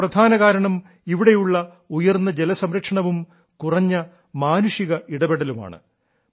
ഇതിന്റെ പ്രധാന കാരണം ഇവിടെയുള്ള ഉയർന്ന ജലസംരക്ഷണവും കുറഞ്ഞ മാനുഷിക ഇടപെടലുമാണ്